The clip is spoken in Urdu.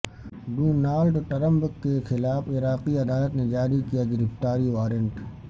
ڈونالڈ ٹرمپ کے خلاف عراقی عدالت نے جاری کیا گرفتاری وارنٹ